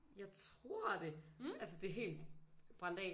Jeg tror det altså det er helt brændt af